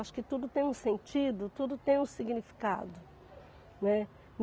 Acho que tudo tem um sentido, tudo tem um significado, né.